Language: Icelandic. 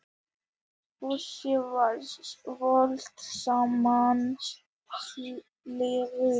Fúsi var valdsmannslegur.